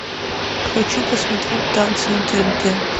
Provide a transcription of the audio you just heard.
хочу посмотреть танцы на тнт